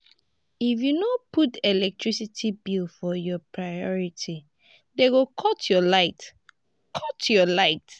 if you no put electricity bills for your priority dem go cut your light. cut your light.